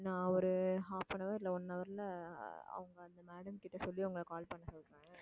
நான் ஒரு half an hour இல்லை one hour ல அவங்க வந்து madam கிட்ட சொல்லி உங்களை call பண்ண சொல்றேன்